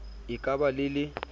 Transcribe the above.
e ka ba le le